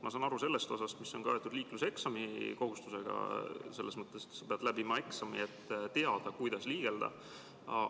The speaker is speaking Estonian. Ma saan aru sellest osast, mis on kaetud liikluseksami kohustusega, et sa pead läbima eksami, et teada, kuidas liigelda.